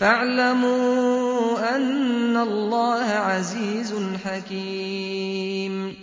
فَاعْلَمُوا أَنَّ اللَّهَ عَزِيزٌ حَكِيمٌ